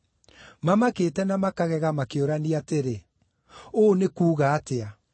Mamakĩte na makagega makĩũrania atĩrĩ, “Ũũ nĩ kuuga atĩa?”